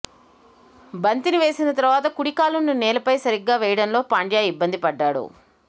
బంతిని వేసిన తర్వాత కుడి కాలును నేలపై సరిగా వేయడంలో పాండ్యా ఇబ్బందిపడ్డాడు